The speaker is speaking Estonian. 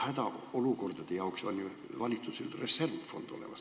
Hädaolukordade jaoks on valitsusel ju olemas reservfond.